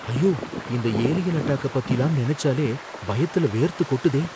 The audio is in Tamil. ஐயோ! இந்த ஏலியன் அட்டாக்கப் பத்திலாம் நெனச்சாலே பயத்துல வேர்த்து கொட்டுதே!